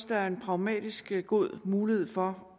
der er en pragmatisk god mulighed for